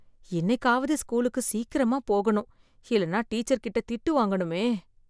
இன்னைக்காவது ஸ்கூலுக்கு சீக்கிரமா போகணும் இல்லைனா டீச்சர் கிட்ட திட்டு வாங்கணுமே!